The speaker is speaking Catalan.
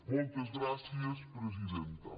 moltes gràcies presidenta